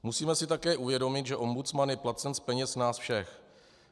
Musíme si také uvědomit, že ombudsman je placen z peněz nás všech.